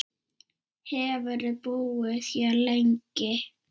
Hefurðu búið hér lengi?